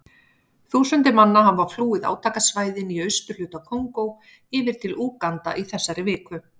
Þúsundir manna hafa flúið átakasvæðin í austurhluta Kongó yfir til Úganda í þessari viku.